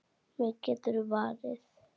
Mig geturðu varið.